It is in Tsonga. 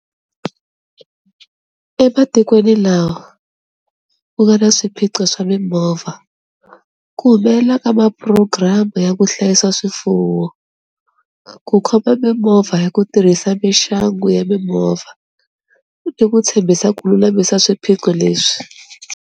Ematikweni lawa ku nga na swiphiqo swa mimovha, ku humelela ka ma-program ya ku hlayisa swifuwo, ku khoma mimovha ya ku tirhisa mixangu ya mimovha, ni ku tshembisa ku lulamisa swiphiqo leswi.